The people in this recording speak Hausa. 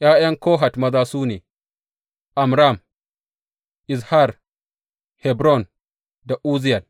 ’Ya’yan Kohat maza su ne, Amram, Izhar, Hebron da Uzziyel.